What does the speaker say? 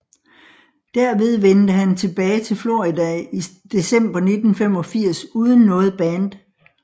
Derved vendte han tilbage til Florida i december 1985 uden noget band